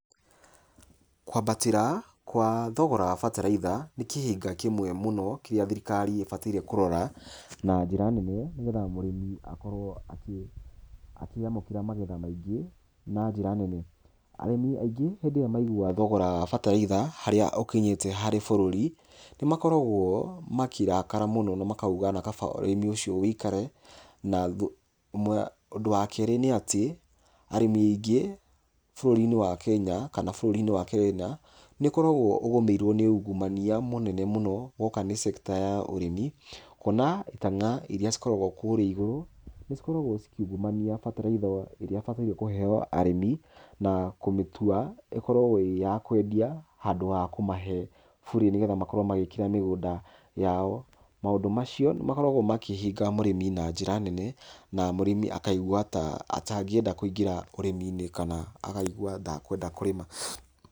Kwambatĩra kwa thogora wa bataraitha, nĩkĩhĩnga kĩmwe mũno, kĩrĩa thirikari ĩbatiĩ kũrora na njĩra nene mũno, nĩgetha mũrĩmi akorwo akĩamũkĩra magetha maingĩ na njĩra nene.Arĩmi aingĩ hĩndĩ ĩrĩa maigua thogora wa batataitha harĩa ũkinyite harĩ bũrũri, nĩmakoragwo makĩrakara muno, na makauga nĩ kana ũrĩmi ũcio ũikare. Ũndũ wa kerĩ nĩatĩ arĩmĩ aingĩ , bũrũri-inĩ wa Kenya, nĩũkoragwo ũgũmĩirwo nĩ ungumania, mũnene mũno, gwoka nĩ sector ya ũrĩmi. Ona kana iria cikoragwo kũu igũrũ, nĩ cikoragwo cikiungumania bataraitha ĩrĩa ibatiĩ kũheo arĩmi, na kũmĩtua ĩkorwo ĩrĩ ya kwendia handũ ha kũmahe burĩ ,nĩ getha makorwo magĩkĩra mĩgũnda yao. Maũndũ macio nĩ makoragwo makĩhĩnga mũrĩmi na njĩra nene, na mũrĩmi akaigua ta atangĩenda kũingĩra ũrĩmi-inĩ kana akaigua ta atakweda kũrĩma.